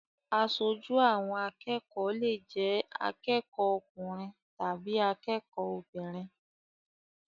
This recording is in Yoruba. Aṣojú àwọn akẹ́kọ̀ọ́ lè jẹ́ akẹ́kọ̀ọ́ ọkùnrin tàbí akẹ́kọ̀ọ́ obìnrin.